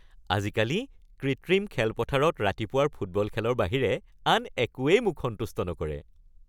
আজিকালি কৃত্ৰিম খেলপথাৰত ৰাতিপুৱাৰ ফুটবল খেলৰ বাহিৰে আন একোৱেই মোক সন্তুষ্ট নকৰে।